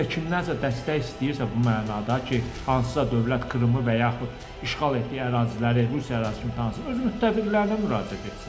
Rusiya kimdənsə dəstək istəyirsə bu mənada ki, hansısa dövlət Krımı və yaxud işğal etdiyi əraziləri Rusiya ərazisi kimi tanısın, öz müttəfiqlərinə müraciət etsin.